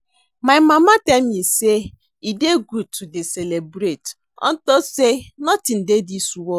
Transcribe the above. My mama tell me say e dey good to dey celebrate unto say nothing dey dis world